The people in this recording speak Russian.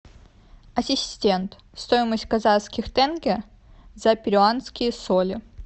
ассистент стоимость казахских тенге за перуанские соли